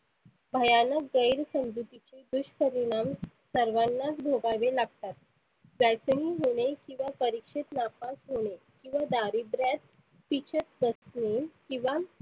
भयानक गैर समजुतीची दुषपरिनाम सर्वांनाच भोगावे लागतात. जायतनी होणे किंवा परिक्षेत नापास होने किंवा दारिद्र्यात पिसत बसने किंवा